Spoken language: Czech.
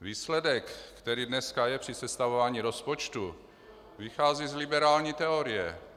Výsledek, který dneska je při sestavování rozpočtu, vychází z liberální teorie.